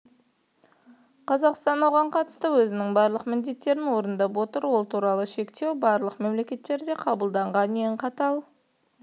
қазақстан оған қатысты өзінің барлық міндеттерін орындап отыр ол туралы шектеу барлық мемлекеттерде қабылданған ең қатал